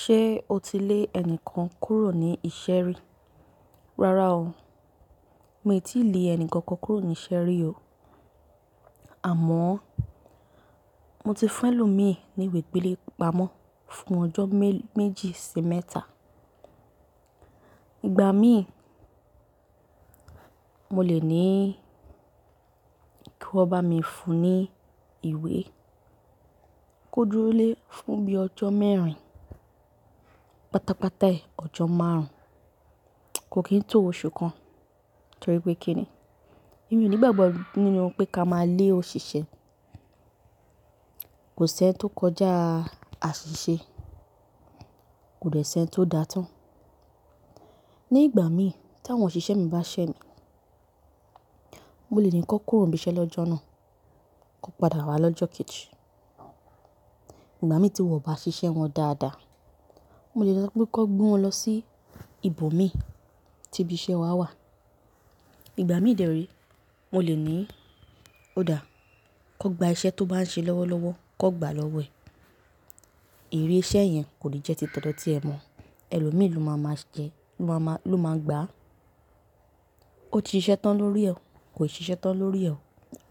Ṣé o ti lé ẹni kan kúrò ní iṣẹ́ rí? Rárá o, mi ò tí ì lé ẹni kankan kúrò ní iṣẹ́ rí o. Àmọ́ mo ti fún ẹ lò mí ní ìwé gbélépamọ́ fún ọjọ́ méjì sí mẹ́ta. Igba mí, mo lè ní kí wọ́n bá mi fún ní ìwé, kó dúró lé fún bí ọjọ́ mẹ́rin, pátápátá ẹ ọjọ́ márùn-ún, kò kì í tó oṣù kan torí pé kí ni. Èmi ò ní ìgbàgbọ́ nínú pé ká máa lé òṣìṣẹ́. Kò sí ẹni tó kọjá àṣìṣe, kò dẹ̀ sí ẹni tó dá tán. Ni ìgbà mi ta àwọn òṣìṣẹ́ mi bá ṣẹ́ mi, mo lè ní kí wọn kúrò níbi iṣẹ́ lọ́jọ́ náà, kó padà wá lọ́jọ́ kẹ́ẹ̀jì. Ìgbà mí tí wọn ò bá ṣiṣẹ́ wọn dáadáa, mo lè sọ pé kó gbé wọn lọ sí ibòmíí tí ibi iṣẹ́ wa wà. Ìgbà mí dẹ́rì ẹ, mo lè ní odà, kan gba iṣẹ́ tó bá ń ṣe lọ́wọ́lọ́wọ́, kan gbàá lọ́wọ́ ẹ̀. Ire iṣẹ́ yẹn kò lè jẹ́ ti t'ọdọ tí ẹ mọ̀, ẹlòmíì ló máa máa jẹ, ló máa gbà á. Ó ti ṣiṣẹ́ tán lórí ẹ, kò ṣiṣẹ́ tán lórí ẹ,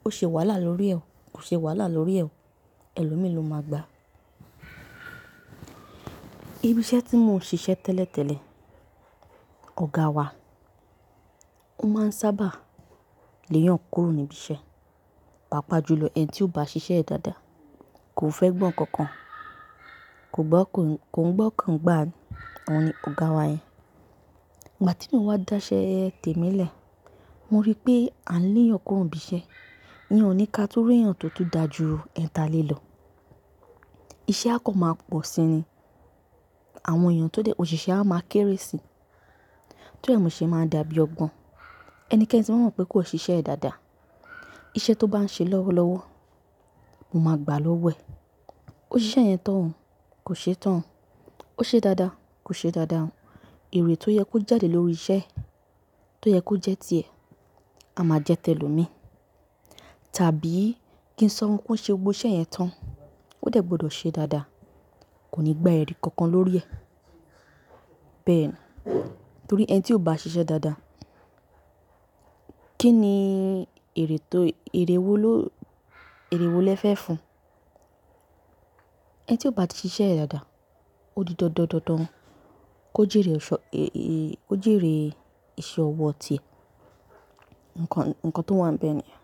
ó ṣe wàhálà lórí ẹ, kò ṣe wàhálà lórí ẹ, ẹlòmíì ló máa gbà á. Ibi iṣẹ́ tí mò ń ṣiṣẹ́ tẹ́lẹ̀tẹ́lẹ̀, ọ̀gá wa, ó máa ń sábà léyàn kúrò níbi iṣẹ́, pàápàá jùlọ ẹni tí ò bá ṣiṣẹ́ dáadáa, kò fẹ́ gbọ́ nǹkan kan, kò gbọ́, kò ń gbá á, òní ọ̀gá wa yẹn. Ìgbà tí n ò wá dá iṣẹ́ tèmi lẹ̀, mo rí pé a ń léyàn kúrò níbi iṣẹ́, iyán ọ̀ní ká tún rí èèyàn tó tún dá ju ẹ̀tà le lọ. Iṣẹ́ a kọ̀ máa pọ̀ sí i ni, àwọn èèyàn tó dẹ̀, òṣìṣẹ́ a máa kéré si, tó rí, mo ṣe máa dàbí ọgbọ́n. Ẹnikẹ́ni tí mo mọ̀ bá mọ̀ pé kò ṣiṣẹ́ ẹ dáadáa, iṣẹ́ tó bá ń ṣe lọ́wọ́lọ́wọ́, mo máa gbà á lọ́wọ́ ẹ. Ó ṣiṣẹ́ yẹn tán, kò ṣe tán, ó ṣe dáadáa, kò ṣe dáadáa, èrè tó yẹ kó jáde lórí iṣẹ́ tó yẹ kó jẹ́ ti ẹ, a máa jẹ́ tẹ́lòmíì. Tàbí kí n sọ pé ó ṣe gbogbo iṣẹ́ yẹn tán, ó dẹ̀ gbọdọ̀ ṣe dáadáa, kò ní gba èrè kankan lórí ẹ. Bẹ́ẹ̀ ni, torí ẹni tí ò bá ṣiṣẹ́ dáadáa, kí ni èrè tó, èrè wo ló, èrè wo lẹ fẹ́ fún? Ẹni tí ò bá ti ṣiṣẹ́ ẹ dáadáa, ó di dandan, kó jíire iṣẹ́ ọwọ́ ti ẹ. Ǹkan tó wà ń bẹ́ẹ̀ ni yẹn.